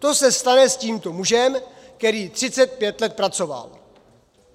To se stane s tímto mužem, který 35 let pracoval.